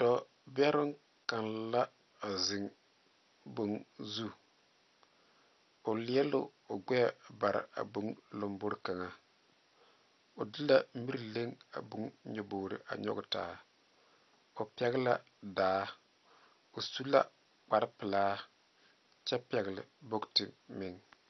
Dɔɔ beroŋ kaŋ la zeŋe boŋ zu o leɛ la o gbɛ pare boŋo kaŋa zu o de mire a leŋe a boŋo nyɔboroo ta o pɛle la daa o suu la kpaare peɛle kyɛ pɛle bokyɛ meŋa.